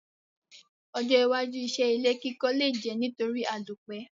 Ojó iwájú isé ilé kíkọ́ le je nítorí àlòpẹ́